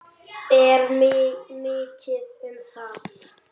Er mikið um það?